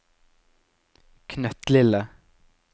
knøttlille